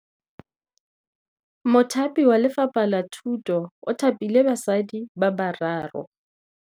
Mothapi wa Lefapha la Thutô o thapile basadi ba ba raro.